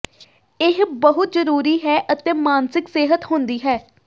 ਇਹ ਬਹੁਤ ਜ਼ਰੂਰੀ ਹੈ ਅਤੇ ਮਾਨਸਿਕ ਸਿਹਤ ਹੁੰਦੀ ਹੈ